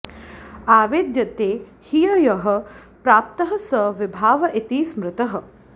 आवेद्यते हि यः प्राप्तः स विभाव इति स्मृतः